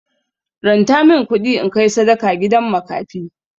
Ranta min kuɗi in kai sadaka gidan makafi.